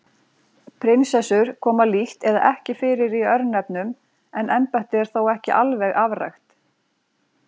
Prinsessur koma lítt eða ekki fyrir í örnefnum en embættið er þó ekki alveg afrækt.